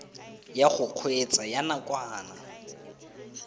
ya go kgweetsa ya nakwana